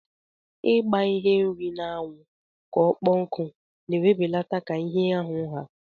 Igba ihe nri na anwu ka ọkpọ nku na ewebelata ka ihe ahu ha.